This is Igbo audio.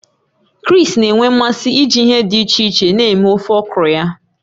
Chris na-enwe mmasị iji ihe dị iche iche na-eme ofe okro ya.